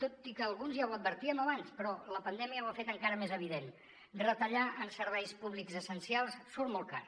tot i que alguns ja ho advertíem abans però la pandèmia ho ha fet encara més evident retallar en serveis públics essencials surt molt car